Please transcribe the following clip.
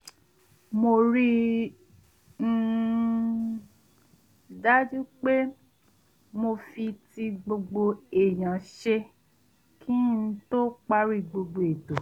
mo rí i um dájú pé mo fi ti gbogbo èèyàn ṣe kí n tó parí gbogbo ètò